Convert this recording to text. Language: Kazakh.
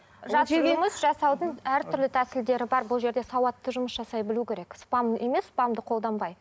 жасаудың әртүрлі тәсілдері бар бұл жерде сауатты жұмыс жасай білу керек спам емес спамды қолданбай